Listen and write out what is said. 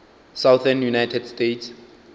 southern united states